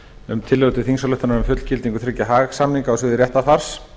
um tillögu til þingsályktunar um fullgildingu þriggja haag samninga á sviði réttarfars